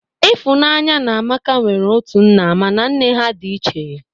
Ịfụnanya na Amaka nwere otu nna mana nne ha dị iche